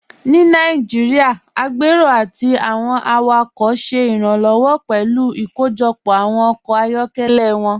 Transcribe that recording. Ní Nàìjíríà, agbérò àti awọn awakọ ṣẹ iranlọwọ pẹ̀lú ikóójọpọ awọn ọkọ ayọkẹlẹ wọn.